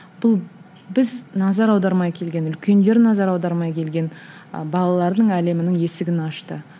бұл біз назар аудармай келген үлкендер назар аудармай келген ы балалардың әлемінің есігін ашты